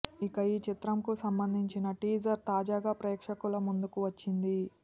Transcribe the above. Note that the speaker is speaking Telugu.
ఇక ఈ చిత్రంకు సంబంధించిన టీజర్ తాజాగా ప్రేక్షకుల ముందుకు వచ్చింది